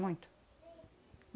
Muito.